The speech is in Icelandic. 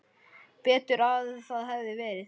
Betur að það hefði verið.